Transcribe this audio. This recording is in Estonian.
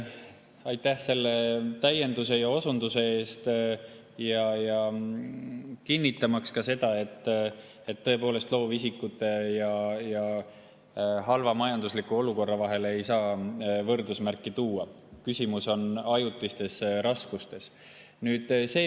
Aitäh ka selle täienduse ja osunduse eest, kinnitamaks seda, et tõepoolest loovisikute ja halva majandusliku olukorra vahele ei saa võrdusmärki panna, vaid küsimus on ajutistes raskustes.